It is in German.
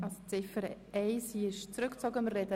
Die Ziffer 1 ist zurückgezogen worden.